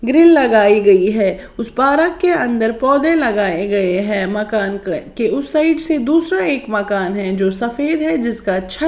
grill लगाई गई है उस पारक के अंदर पौधे लगाए गए हैं मकान के उस साइड से दूसरा एक मकान है जो सफेद है जिसका अच्छा --